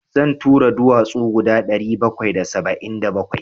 Zan taro duwatsu guda ɗari bakwai da saba'in da bakwai.